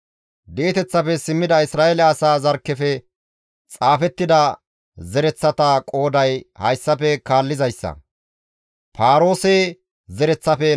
Di7eteththafe simmida Isra7eele asaa zarkkefe xaafettida zereththata qooday hayssafe kaallizayssa; Paaroose zereththafe 2,172;